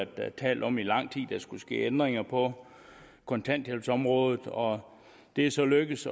været talt om i lang tid nemlig der skulle ske ændringer på kontanthjælpsområdet og det er så lykkedes